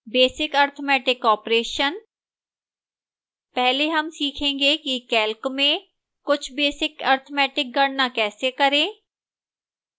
basic arithmetic operations